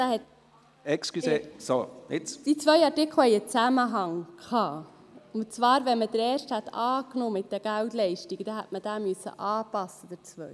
Die beiden Artikel hatten einen Zusammenhang, und zwar: Wenn man den ersten betreffend die Geldleistungen angenommen hätte, hätte man den zweiten anpassen müssen.